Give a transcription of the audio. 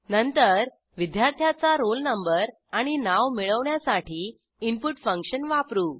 नंतर विद्यार्थ्याचा roll number आणि नाव मिळवण्यासाठी इनपुट फंक्शन वापरू